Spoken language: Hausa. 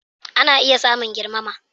Ana iya samun girmama